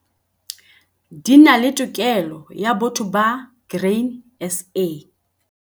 Di na le tokelo ya botho ba Grain SA.